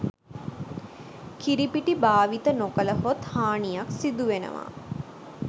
කිරිපිටි භාවිත නොකළහොත් හානියක් සිදු වෙනවා